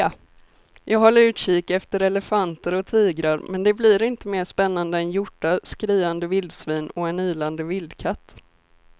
Jag håller utkik efter elefanter och tigrar men det blir inte mer spännande än hjortar, skriande vildsvin och en ylande vildkatt.